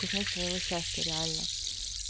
кузнец своего счастья реально